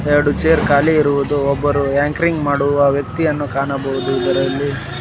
ಎರಡು ಚೇರ್ ಖಾಲಿ ಇರುವುದು ಒಬ್ಬರು ಆಂಕರಿಂಗ್ ಮಾಡುವ ವ್ಯಕ್ತಿಯನ್ನು ಕಾಣಬಹುದು ಇದರಲ್ಲಿ.